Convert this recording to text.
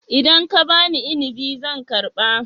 Idan ka ba ni inabi zan karba